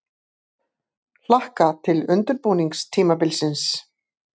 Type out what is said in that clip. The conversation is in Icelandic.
Hlakka til undirbúningstímabilsins!